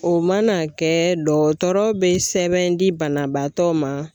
O mana kɛ dɔgɔtɔrɔ be sɛbɛn di banabaatɔ ma